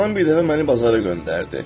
Anam bir dəfə məni bazara göndərdi.